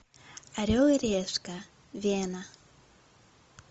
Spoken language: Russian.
орел и решка вена